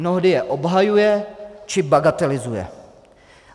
Mnohdy je obhajuje či bagatelizuje.